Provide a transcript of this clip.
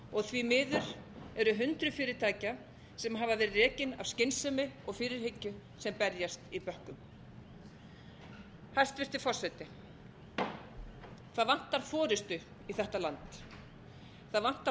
þeirra því miður eru hundruð fyrirtækja sem hafa verið rekin af skynsemi og fyrirhyggju sem berjast í bökkum hæstvirtur forseti það vantar forustu í þetta land það vantar